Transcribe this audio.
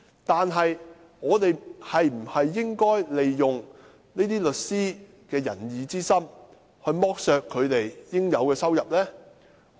不過，我們應否利用這些律師的仁義之心，剝削他們應得的收入呢？